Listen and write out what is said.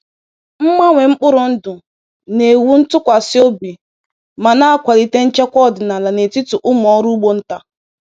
Mgbanwe mkpụrụ ndụ na-ewu ntụkwasị obi ma na-akwalite nchekwa ọdịnala n’etiti ụmụ ọrụ ugbo nta.